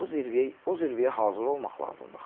O zirvəyə, o zirvəyə hazır olmaq lazımdır axı.